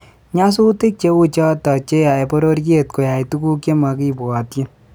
Nyasutik cheuchoto cheyaei bororiet koyai tuguuk chekimakibwotchin